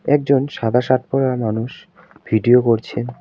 একজন সাদা শার্ট পরা মানুষ ভিডিও করছে।